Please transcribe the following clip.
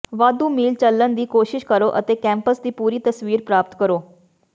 ਵਾਧੂ ਮੀਲ ਚੱਲਣ ਦੀ ਕੋਸ਼ਿਸ਼ ਕਰੋ ਅਤੇ ਕੈਂਪਸ ਦੀ ਪੂਰੀ ਤਸਵੀਰ ਪ੍ਰਾਪਤ ਕਰੋ